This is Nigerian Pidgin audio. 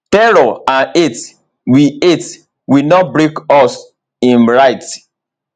terror and hate will hate will not break us im write